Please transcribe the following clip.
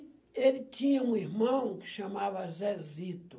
E ele tinha um irmão que chamava Zezito.